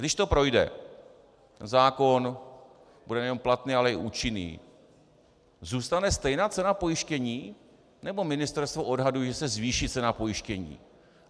Když to projde, zákon bude nejenom platný, ale i účinný - zůstane stejná cena pojištění, nebo ministerstvo odhaduje, že se zvýší cena pojištění?